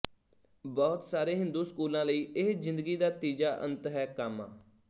ਬਹੁਤ ਸਾਰੇ ਹਿੰਦੂ ਸਕੂਲਾਂ ਲਈ ਇਹ ਜ਼ਿੰਦਗੀ ਦਾ ਤੀਜਾ ਅੰਤ ਹੈ ਕਾਮਾ